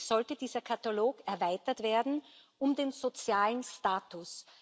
Eigentlich sollte dieser Katalog erweitert werden um den sozialen Status.